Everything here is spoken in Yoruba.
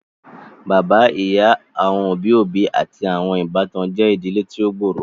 Bàbá, ìyá, àwọn òbí òbí àti àwọn ìbátan je ìdílé tí o gb'ọrọ.